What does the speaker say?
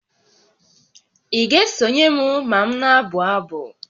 Ị ga-esonye m ma m na-abụ abụ?